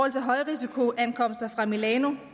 af højrisikoankomster fra milano